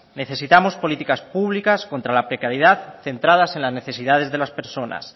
necesitamos políticas públicas contra la precariedad centradas en las necesidades de las personas